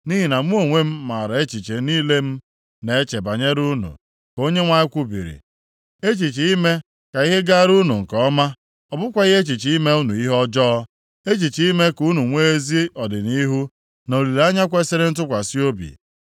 Nʼihi na mụ onwe m maara echiche niile m na-eche banyere unu,” ka Onyenwe anyị kwubiri, “echiche ime ka ihe gaara unu nke ọma, ọ bụkwaghị echiche ime unu ihe ọjọọ, echiche ime ka unu nwee ezi ọdịnihu, na olileanya kwesiri ntụkwasị obi.